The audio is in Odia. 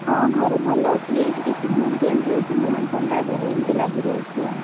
ହଁ, ଘରେ ଭଲ ଅଛି ଏଇ ଟିକେ season change ହଉଛି ନା ଥଣ୍ଡା ଜର ଏମିତି ଲାଗିରହୁଛି ଆଉ।